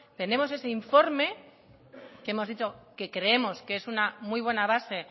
tenemos ese informe que hemos dicho que creemos que es una muy buena base